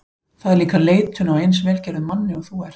Það er líka leitun á eins vel gerðum manni og þú ert.